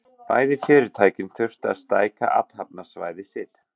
Bæði fyrirtækin þurftu að stækka athafnasvæði sitt.